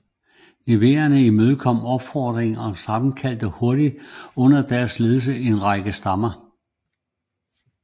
Nervierne imødekom opfordringen og sammenkaldte hurtigt under deres ledelse en række stammer